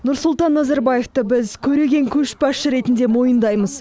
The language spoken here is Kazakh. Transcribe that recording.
нұрсұлтан назарбаевты біз көреген көшбасшы ретінде мойындаймыз